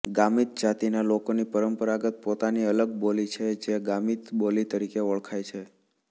ગામિત જાતિના લોકોની પરંપરાગત પોતાની અલગ બોલી છે જે ગામીત બોલી તરીકે ઓળખાય છે